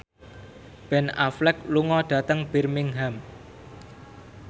Ben Affleck lunga dhateng Birmingham